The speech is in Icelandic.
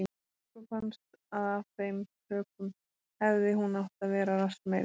Og okkur fannst að af þeim sökum hefði hún átt að vera rassmeiri.